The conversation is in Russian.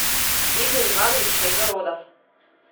игорь иванович кайгородов